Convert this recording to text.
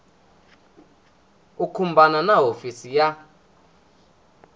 u khumbana na hofisi ya